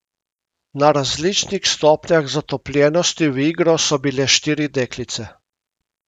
Na različnih stopnjah zatopljenosti v igro so bile štiri deklice.